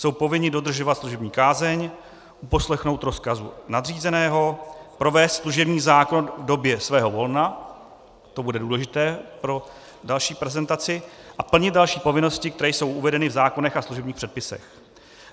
Jsou povinni dodržovat služební kázeň, uposlechnout rozkazu nadřízeného, provést služební zákrok v době svého volna - to bude důležité pro další prezentaci - a plnit další povinnosti, které jsou uvedeny v zákonech a služebních předpisech.